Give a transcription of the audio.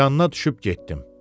Yanına düşüb getdim.